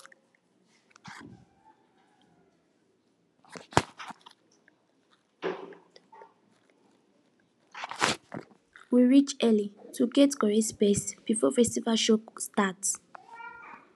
we reach early to get correct space before festival show start